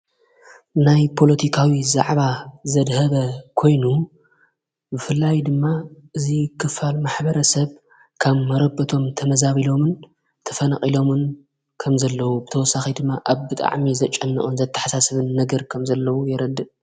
ናይ ጶሎቲካዊ ዛዕባ ዘድሀበ ኮይኑ ፍላይ ድማ እዙይ ክፋል ማኅበረ ሰብ ካብ መረበቶም ተመዛቢ ሎምን ተፈነቕ ኢሎምን ከም ዘለዉ ብተወሳኺ ድማ ኣብጥዕሜ ዘጨንዖን ዘተሓሳስብን ነገር ከም ዘለዉ የረድእ።